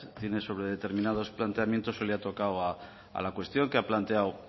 tiene sobre terminados planteamientos hoy le ha tocado a la cuestión que ha planteado